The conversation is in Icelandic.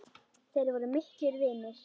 Þeir voru miklir vinir.